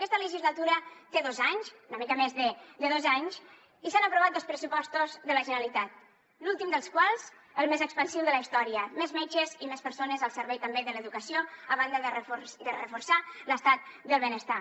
aquesta legislatura té dos anys una mica més de dos anys i s’han aprovat dos pressupostos de la generalitat l’últim dels quals el més expansiu de la història més metges i més persones al servei també de l’educació a banda de reforçar l’estat del benestar